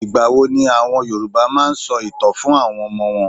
Ìgbà wo ni àwọn Yorùbá máa n sọ ìtàn fún àwọn Ọmọ wọn?